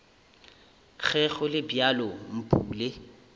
ge go le bjalo mpule